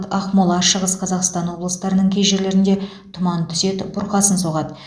ақмола шығыс қазақстан облыстарының кей жерлерінде тұман түседі бұрқасын соғады